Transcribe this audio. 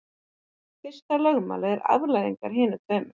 Fyrsta lögmálið er afleiðing af hinum tveimur.